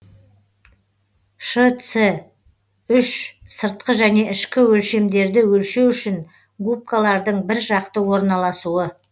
шц үш сыртқы және ішкі өлшемдерді өлшеу үшін губкалардың бір жақты орналасуы